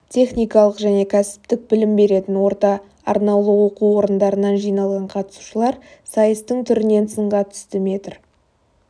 техникалық және кәсіптік білім беретін орта арнаулы оқу орындарынан жиналған қатысушылар сайыстың түрінен сынға түсті метр